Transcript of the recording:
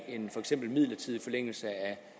midlertidig forlængelse